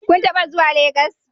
Kun taba zuwa Legas?